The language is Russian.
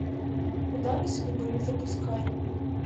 удары судьбы запускай